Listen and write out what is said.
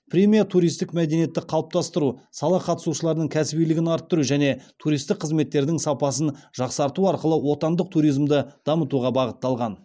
премия туристік мәдениетті қалыптастыру сала қатысушыларының кәсібилігін арттыру және туристік қызметтердің сапасын жақсарту арқылы отандық туризмді дамытуға бағытталған